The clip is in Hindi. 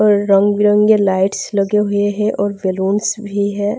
और रंग-बिरंगे लाइट्स लगे हुए है और बैलून्स भी है।